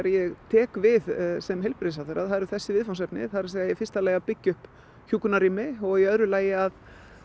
ég tek við sem heilbrigðisráðherra það eru þessi viðfangsefni það er í fyrsta lagi að byggja upp hjúkrunarrými og í öðru lagi að